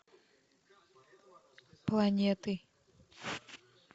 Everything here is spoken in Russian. планеты